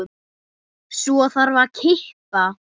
Svo þarf að kippa.